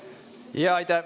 Aitäh!